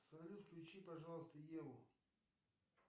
салют включи пожалуйста еву